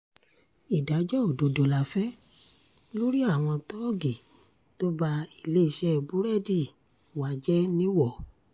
ìdájọ́ òdodo la fẹ́ lórí àwọn tóògì tó ba iléeṣẹ́ búrẹ́dì wa jẹ́ nìwọ